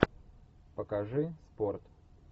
покажи спорт